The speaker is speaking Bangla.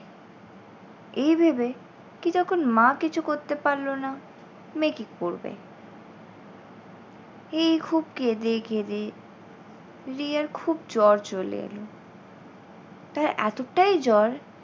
এই ভেবে কী যখন মা কিছু করতে পারল না মেয়ে কি করবে? এই খুব কেঁদে কেঁদে রিয়ার খুব জ্বর চলে এলো। তার এতটাই জ্বর